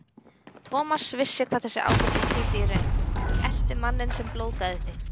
Thomas vissi hvað þessi ábending þýddi í raun: Eltu manninn sem blóðgaði þig.